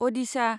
अ'दिशा